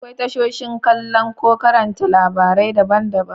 Akwai tashoshin kallo ko karanta labarai daban-daban.